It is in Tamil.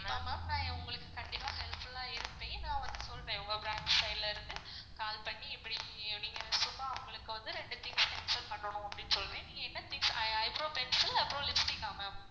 கண்டிப்பா ma'am நான் உங்களுக்கு கண்டிப்பா helpful ஆ இருப்பன் நான் உங்களுக்கு சொல்றன் உங்க branch side ல இருந்து call பண்ணி இப்படி அப்படி சொன்னா அவங்களுக்கு வந்து ரெண்டு things cancel பண்ணனும் அப்படின்னு சொன்னா eyebrow pencil அப்பறம் lipstick ஆ ma'am?